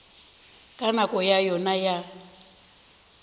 ka nako ya yona ya